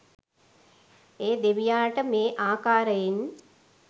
ඒ දෙවියාට මේ ආකාරයෙන්